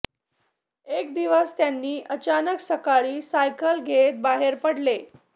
एक दिवस त्यांनी अचानक सकाळी सायकल घेत बाहेर पडले